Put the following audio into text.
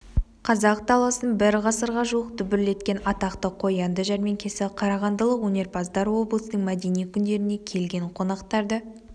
қазақ даласын бір ғасырға жуық дүбірлеткен атақты қоянды жәрмеңкесі қарағандылық өнерпаздар облыстың мәдени күндеріне келген қонақтарды